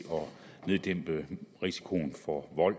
neddæmpe risikoen for vold